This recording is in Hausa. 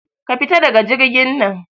Ka fita da jirgin nan